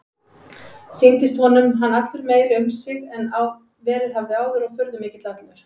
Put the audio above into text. Sýndist honum hann allur meiri um sig en verið hafði áður og furðumikill allur.